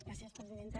gràcies presidenta